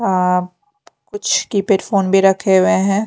अअअ कुछ keypad phone भी रखे हुए हैं।